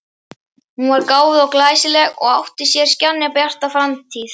Hún var gáfuð og glæsileg og átti sér skjannabjarta framtíð.